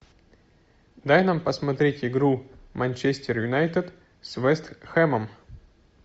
дай нам посмотреть игру манчестер юнайтед с вест хэмом